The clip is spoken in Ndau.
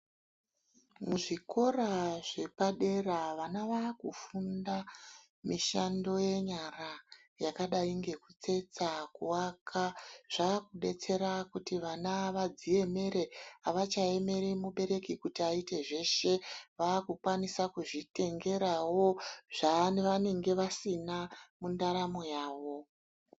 Muzvikora zvepadera vana vakufunda mishando yenyara yakadai ngekutsetsa nekuaka. Zvakudetsera kuti vana vadziemere, avachaemeri mubereki kutk aite zveshe. Vakukwanisa kuzvitengerawo zvavanenge vasina mundaramo yavo.